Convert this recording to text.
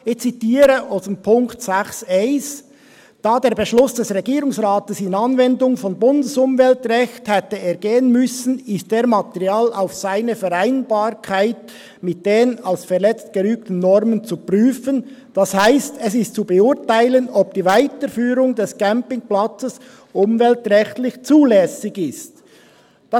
Ich zitiere aus dem Punkt 6.1: «Da der Beschluss des Regierungsrats in Anwendung von Bundesumweltrecht […] hätte ergehen müssen, ist er materiell auf seine Vereinbarkeit mit den als verletzt gerügten Normen zu prüfen, das heisst, es ist zu beurteilen, ob die Weiterführung des Campingplatzes umweltrechtlich zulässig ist.»Das